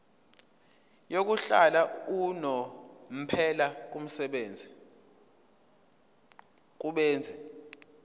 yokuhlala unomphela kubenzi